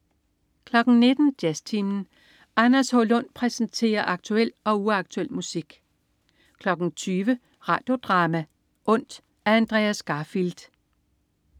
19.00 Jazztimen. Anders H. Lund præsenterer aktuel og uaktuel musik 20.00 Radio Drama: Ondt. Af Andreas Garfield